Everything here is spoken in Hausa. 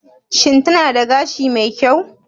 Shin tana da gashi mai kyau?